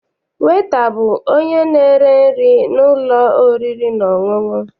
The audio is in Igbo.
Weta bụ onye na-ere nri n'ụlọ oriri na ọṅụṅụ.